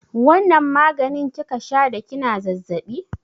Wanna maganin kika sha da kina zazzaɓi?